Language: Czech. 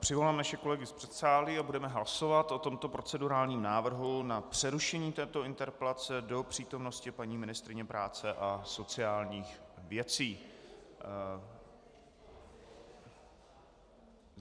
Přivolám naše kolegy z předsálí a budeme hlasovat o tomto procedurálním návrhu na přerušení této interpelace do přítomnosti paní ministryně práce a sociálních věcí.